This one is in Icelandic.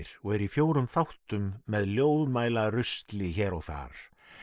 og er í fjórum þáttum með hér og þar